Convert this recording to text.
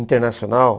Internacional?